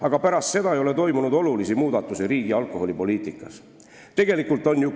Aga pärast seda ei ole riigi alkoholipoliitikas olulisi võite olnud.